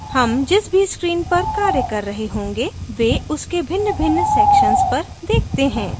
हम जिस भी screen पर कार्य कर रहे होंगे वे उसके भिन्नभिन्न sections पर देखते हैं